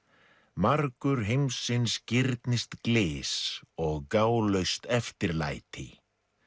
margur heimsins girnist og gálaust eftirlæti